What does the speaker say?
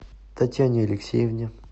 татьяне алексеевне